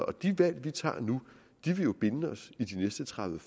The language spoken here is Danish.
og de valg vi tager nu vil jo binde os i de næste tredive